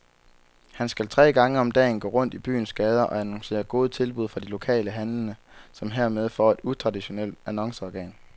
Han skal tre gange om dagen gå rundt i byens gader og annoncere gode tilbud fra de lokale handlende, som hermed får et utraditionelt annonceorgan.